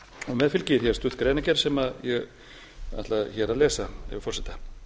með fylgir hér stutt greinargerð sem ég ætla hér að lesa með leyfi forseta